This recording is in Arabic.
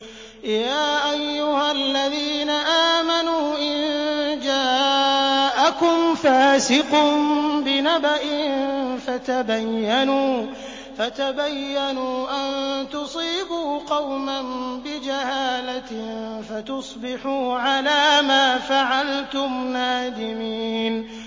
يَا أَيُّهَا الَّذِينَ آمَنُوا إِن جَاءَكُمْ فَاسِقٌ بِنَبَإٍ فَتَبَيَّنُوا أَن تُصِيبُوا قَوْمًا بِجَهَالَةٍ فَتُصْبِحُوا عَلَىٰ مَا فَعَلْتُمْ نَادِمِينَ